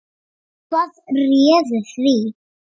Hvað réði því?